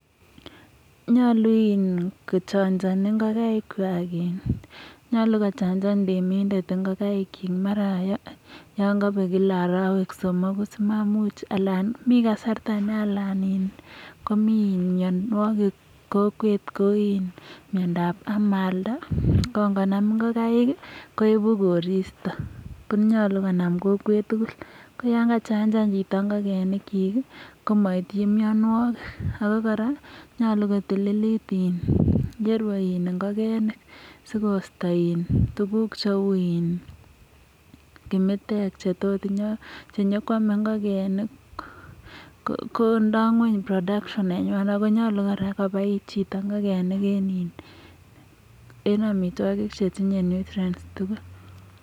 nyolu kochanchani ngogaik kwak temindet amu in..... nyalu kochachan ngokaik amu myanwagik eng kokwet kou myanda ab amalda koibu koristo konam kokwet tugul.. ko yakachanjan chito ngogaik ko nyaku kotililit ye rue ngokenik si koisto kimitek che nyekwomei ngokenik kondoi ngony audio nenywa ak konyoluu koboi chito ngokenik kokochi amutwogik che tindoi audio tugul